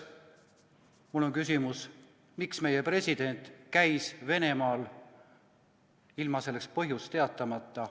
Mul on küsimus: miks meie president käis Venemaal ilma selle põhjust teatamata?